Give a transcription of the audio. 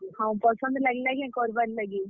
ହଁ, ପସନ୍ଦ ଲାଗ୍ ଲା କେଁ କର୍ ବାର୍ ଲାଗି?